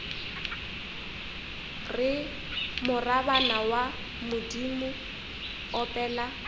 re morabana wa bodimo opela